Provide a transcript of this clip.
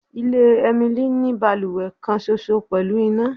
Ile Emily ni baluwe kan ṣoṣo pẹlu ina